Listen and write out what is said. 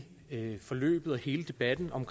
hele forløbet og hele debatten om